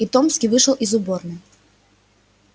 и томский вышел из уборной